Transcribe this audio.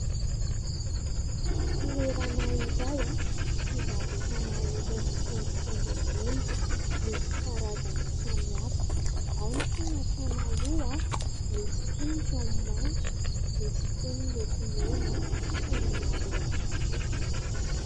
Toerana iray fivarotana irony haingohaingo volo misy karazany samihafa ao ny fanasana loha misy koa ny ranomanitra misy koa ny lokomena sy ny maro hafa koa.